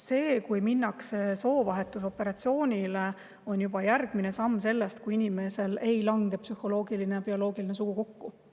See, kui minnakse soovahetusoperatsioonile, on juba järgmine samm sellest, kui inimesel ei lange psühholoogiline ja bioloogiline sugu kokku.